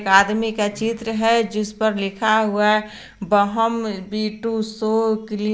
आदमी का चित्र है जिस पर लिखा हुआ है ग्रीन --